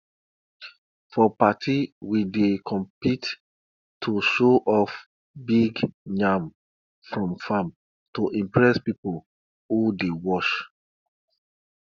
for party we dey compete to show off big yam from farm to impress people who dey watch